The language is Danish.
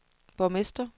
borgmester